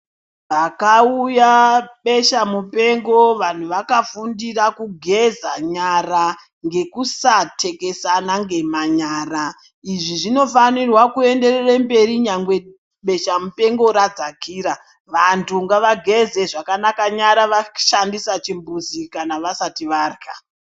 Pakauya besha muoenga vantu vakafundira kugeza nyara ngekusatekesana ngemanyara izvi zvinofnirwa kuenderere mberi nyangwe besha mupengo radzakira, vangu ngavageze zvakanaka nyara vashandise chimbizi kana vasati varya.